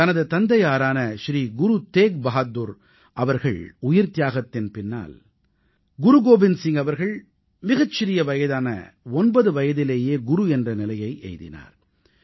தனது தந்தையாரான ஸ்ரீ குரு தேக் பஹாதுர் அவர்கள் உயிர்த்தியாகத்தின் பின்னால் குரு கோபிந்த் சிங் அவர்கள் மிகச் சிறிய வயதான 9 வயதிலேயே குரு என்ற நிலையை எய்தினார்